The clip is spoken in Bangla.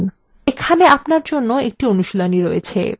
এখানে আপনার জন্য একটি অনুশীলনী রয়েছে